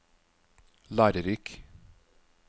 lærerik